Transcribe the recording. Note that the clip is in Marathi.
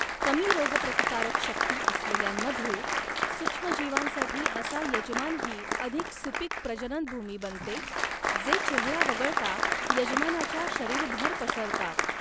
कमी रोगप्रतिकारक शक्ती असलेल्यांमध्ये, सूक्ष्मजीवांसाठी असा यजमान ही अधिक सुपीक प्रजननभूमी बनते, जे चेहरा वगळता, यजमानाच्या शरीरभर पसरतात.